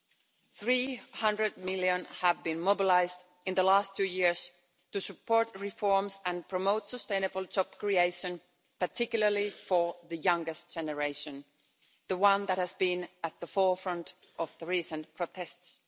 EUR 300 million has been mobilised in the last two years to support reforms and promote sustainable job creation, particularly for the youngest generation the one that has been at the forefront of the recent protests.